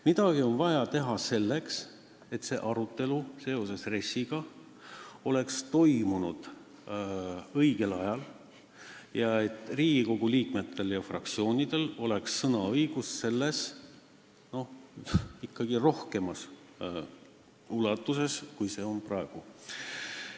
Midagi on vaja teha selleks, et see RES-i arutelu toimuks õigel ajal ning Riigikogu liikmetel ja fraktsioonidel oleks sõnaõigust ikkagi rohkem, kui on praegu.